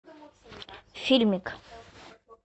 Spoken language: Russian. фильмик